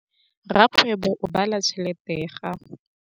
Rakgwêbô o bala tšheletê ya gagwe.